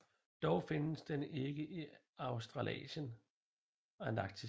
Dog findes den ikke i Australasien og Antarktis